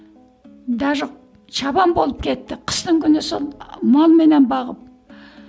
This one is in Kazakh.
даже чабан болып кетті қыстың күні сол малменен бағып